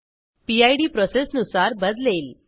पिड प्रोसेसनुसार बदलेल